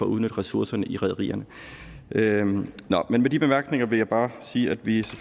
udnytte ressourcerne i rederierne men med de bemærkninger vil jeg bare sige at vi